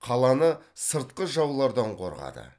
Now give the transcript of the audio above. қаланы сыртқы жаулардан қорғады